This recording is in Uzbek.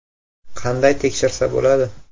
Qanday tekshirsa bo‘ladi?